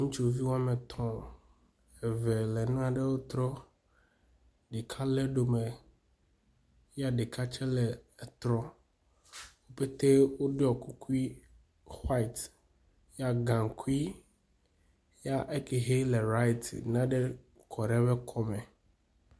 Ŋutsuvi woametɔ̃, eve le nanewo trɔm. Ɖeka lé ɖome ye ɖeka tse le etrɔm. Wo pɛtɛ woɖɔ kukui white yea gaŋkui yea ekɛ hɛ le right nane kɔ ɖe eƒe kɔme